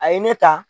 A ye ne ta